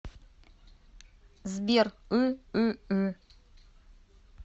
сбер ыыы